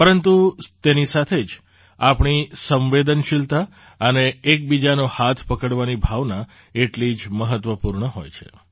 પરંતુ તેની સાથે જ આપણી સંવેદનશીલતા અને એકબીજાનો હાથ પકડવાની ભાવના એટલી જ મહત્ત્વપૂર્ણ હોય છે